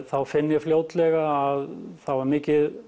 þá finn ég fljótlega að það var mikill